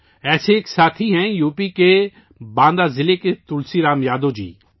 ایسے ہی ایک ساتھی ہیں یوپی کے باندہ ضلع کے تلسی رام یادو جی